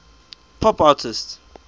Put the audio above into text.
pop artists